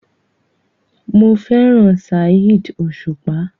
Mo fẹ́ràn Saheed Osupa.